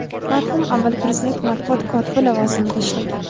marhum avval Prezident matbuot kotibi lavozimida ishlagan.